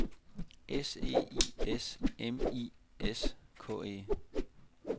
S E I S M I S K E